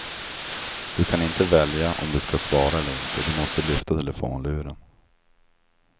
Du kan inte välja om du ska svara eller inte, du måste lyfta telefonluren.